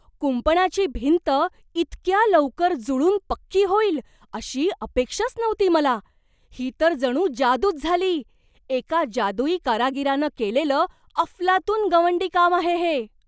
कुंपणाची भिंत इतक्या लवकर जुळून पक्की होईल अशी अपेक्षाच नव्हती मला ही तर जणू जादूच झाली! एका जादूई कारागीरानं केलेलं अफलातून गवंडीकाम आहे हे.